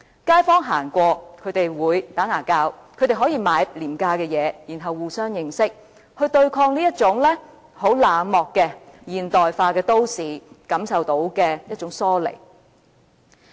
街坊走過，他們可以聊天，可以購買廉價物品，互相認識，有別於在冷漠和現代化都市中所感受到的疏離。